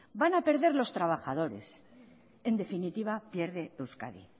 van a perder los trabajadores en definitiva pierde euskadi